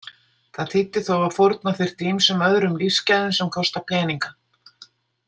Það þýddi þó að fórna þyrfti ýmsum öðrum lífsgæðum sem kosta peninga.